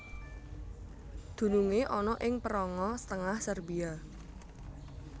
Dunungé ana ing péranga tengah Serbia